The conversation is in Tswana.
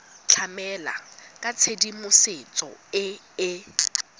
tlamela ka tshedimosetso e e